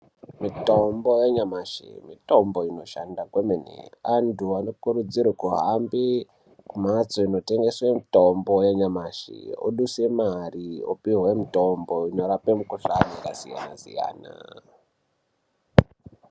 Mitombo yanyamashi mitombo inoshanda kwemene. Antu anokurudzirwe kuhambe kumhatso inotengeswe mitombo yenyamashi, oduse mari opuhwe mutombo inorape mikuhlani yakasiyana-siyana.